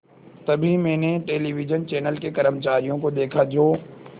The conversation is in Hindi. तभी मैंने टेलिविज़न चैनल के कर्मचारियों को देखा जो